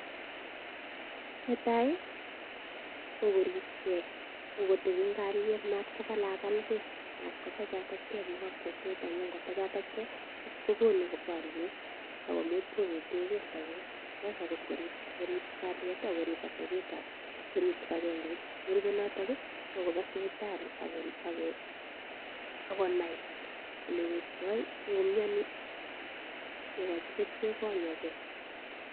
Netai kokoribge, ko kotebi en kalyet mat ko kalakalge. Mat ko tachatachge biikab kokwet amun ngo tachatachge kogonu boryet ak komuch kobetenge sobet. Sasa ko ngorib kalyet ak korib atebetab ak korip kibagengeit. Nerupe noto ko koba sipitali ak konai olwektoi ngomiani kegochi kerichek konyage.